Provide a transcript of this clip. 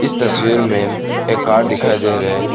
इस तस्वीर में एक कार दिखाई दे रहे हैं।